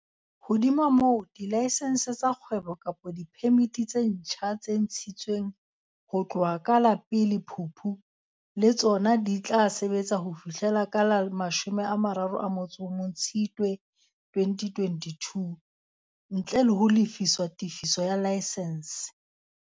Hodima moo, dilaesense tsa kgwebo kapa diphemiti tse ntjha tse ntshi tsweng ho tloha ka la 1 Phupu le tsona di tla sebetsa ho fihlela ka la 31 Tshitswe 2022, ntle le ho lefiswa tefiso ya laesense.